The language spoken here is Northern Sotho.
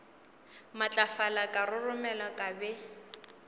matlafala ka roromela ka be